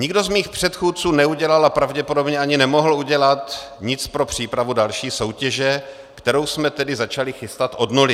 Nikdo z mých předchůdců neudělal a pravděpodobně ani nemohl udělat nic pro přípravu další soutěže, kterou jsme tedy začali chystat od nuly.